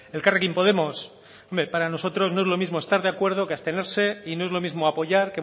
elkarrekin podemos hombre para nosotros no es lo mismo estar de acuerdo que abstenerse y no es lo mismo apoyar